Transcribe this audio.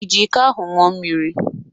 Iji iko ahụ ńụọ mmiri?